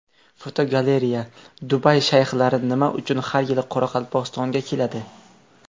Fotogalereya: Dubay shayxlari nima uchun har yili Qoraqalpog‘istonga keladi?.